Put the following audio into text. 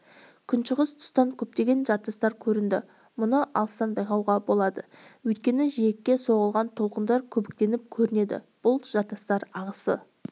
күншығыс тұстан көптеген жартастар көрінді мұны алыстан байқауға болады өйткені жиекке соғылған толқындар көбіктеніп көрінеді бұл жартастар ағысты